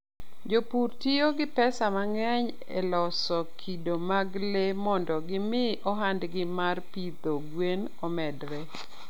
Jopur tiyo gi pesa mang'eny e loso kido mag le mondo gimi ohandgi mar pidho gwen omedre.